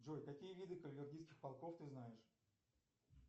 джой какие виды каварелийских полков ты знаешь